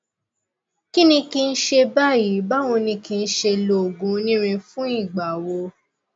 kíni kí n ṣe báyìí báwo ni kí n ṣe lo oògùn onírin fún ìgbà wo